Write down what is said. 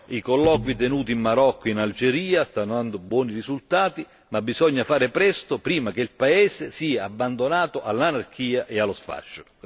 I colloqui tenuti in Marocco e in Algeria stanno dando buoni risultati ma bisogna fare presto prima che il paese sia abbandonato all'anarchia e allo sfascio.